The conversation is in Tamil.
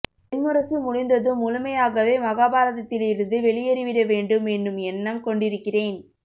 வெண்முரசு முடிந்ததும் முழுமையாகவே மகாபாரதத்தில் இருந்து வெளியேறிவிடவேண்டும் என்னும் எண்ணம் கொண்டிருக்கிறேன்